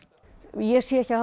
ég sé ekki að